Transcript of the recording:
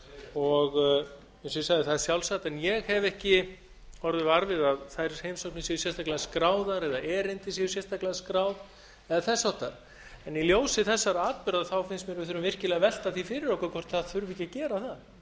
og það er sjálfsagt en ég hef ekki orðið var við að þær heimsóknir séu sérstaklega skráðar eða erindi séu sérstaklega skráð eða þess háttar í ljósi þessara atburða finnst mér að við þurfum virkilega að velta því fyrir okkur hvort ekki þurfi að gera slíkt